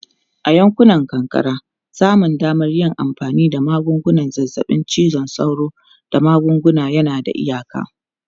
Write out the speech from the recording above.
A yankunan karkara, samun damar yin amfani da magungunan zazzabin cizon sauro da magunguna yana da iyaka.